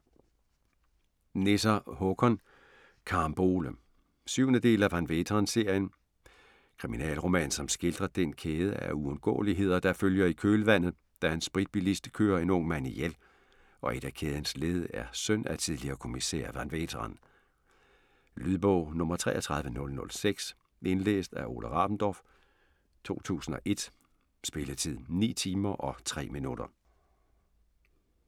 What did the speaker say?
Nesser, Håkan: Carambole 7. del af Van Veeteren-serien. Kriminalroman som skildrer den kæde af uundgåeligheder der følger i kølvandet, da en spritbilist kører en ung mand ihjel, og et af kædens led er søn af tidligere kommissær Van Veeteren. Lydbog 33006 Indlæst af Ole Rabendorf, 2001. Spilletid: 9 timer, 3 minutter.